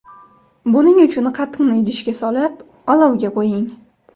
Buning uchun qatiqni idishga solib, olovga qo‘ying.